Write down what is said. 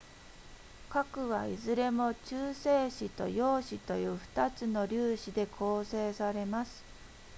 核はいずれも中性子と陽子という2つの粒子で構成されます